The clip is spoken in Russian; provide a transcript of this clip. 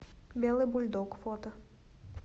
белый бульдог фото